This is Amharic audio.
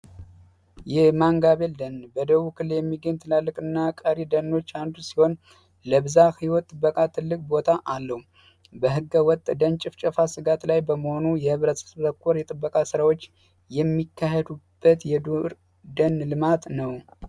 ይህ ማንጋቤል ደን በደቡብ ክልል የሚገኝ ትላልቅ እና ቀሪ ደኖች አንዱ ሲሆን ለብዛ ሕይወት ጥበቃ ትልቅ ቦታ አለው። በሕገ ወጥ ደን ጭፍጨፋ ስጋት ላይ በመሆኑ የህብረት ተኮር የጥበቃ ሥራዎች የሚካሄዱበት የዱር ደን ልማት ነው።